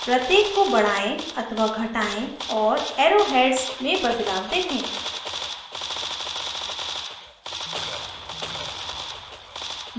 प्रत्येक को बढ़ाएं अथवा घटाएं और arrow heads में बदलाव देखें